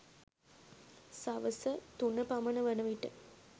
සවස තුන පමණ වන විට